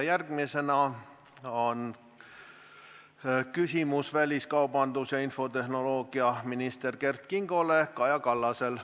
Järgmisena on küsimus väliskaubandus- ja infotehnoloogiaminister Kert Kingole Kaja Kallasel.